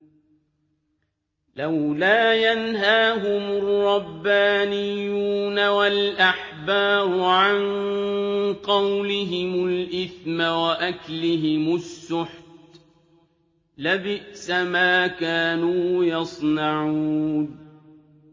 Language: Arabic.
لَوْلَا يَنْهَاهُمُ الرَّبَّانِيُّونَ وَالْأَحْبَارُ عَن قَوْلِهِمُ الْإِثْمَ وَأَكْلِهِمُ السُّحْتَ ۚ لَبِئْسَ مَا كَانُوا يَصْنَعُونَ